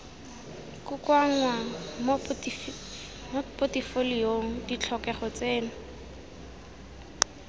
kokoanngwa mo potefoliong ditlhokego tseno